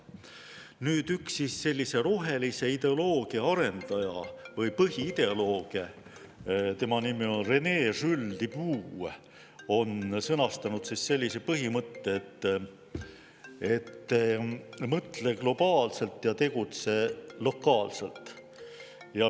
Nüüd, üks rohelise ideoloogia arendajaid või põhiideolooge, tema nimi on René Jules Dubos, on sõnastanud sellise põhimõtte: mõtle globaalselt ja tegutse lokaalselt.